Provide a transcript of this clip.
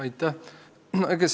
Aitäh!